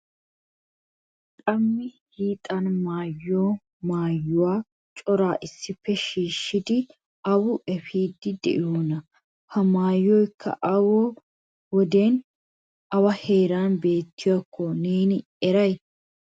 Qama hiixan maayiyo maayuwa cora issippe shiishshidi awa efiidi de'iyoona? Ha maayoyka ha wodiyan awa heeran beettiyakko neeni be'a eray?